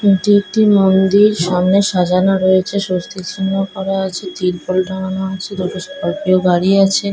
এটি একটি মুন্দির | সামনে সাজানো রয়েছে স্বস্তি চিহ্ন করা আছে | তির্পল টাঙানো আছে দুটো স্করপিও গাড়ি আছে।